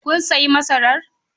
Kun sayi masarar?